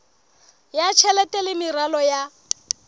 ya tjhelete le meralo ya